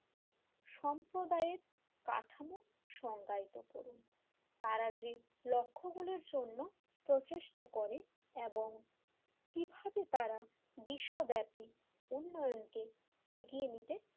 সম্প্রদায়ের কাঠামো সংজ্ঞায়িত করুন তারা যে লক্ষ্যগুলোর জন্য প্রচেষ্টা করে এবং কিভাবে তারা বিশ্বব্যাপী উন্নয়নকে এগিয়ে নিতে,